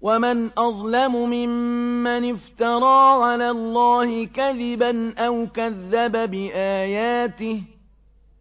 وَمَنْ أَظْلَمُ مِمَّنِ افْتَرَىٰ عَلَى اللَّهِ كَذِبًا أَوْ كَذَّبَ بِآيَاتِهِ ۗ